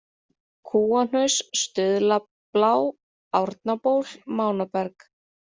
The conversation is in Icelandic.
Kúahnaus, Stuðlablá, Árnaból, Mánaberg